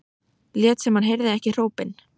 Lét sem hann heyrði ekki hrópin.